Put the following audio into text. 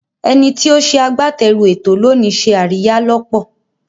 Ẹni tí ó ṣe agbátẹrù ètò lónìí ṣe àríyá lọ́pọ̀.